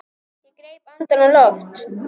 Ég greip andann á lofti.